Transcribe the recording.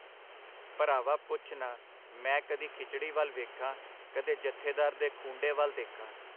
ਭਰਾਵਾ ਪੁੱਛ ਨਾ, ਮੈਂ ਕਦੀ ਖਿਚੜੀ ਵੱਲ ਵੇਖਾਂ ਕਦੇ ਜਥੇਦਾਰ ਦੇ ਖੂੰਡੇ ਵਲ ਦੇਖਾਂ.